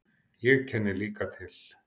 Ég kenni líka til.